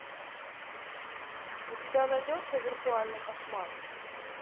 у тебя найдется виртуальный кошмар